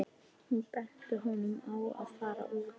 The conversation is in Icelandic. Hún benti honum á að fara út.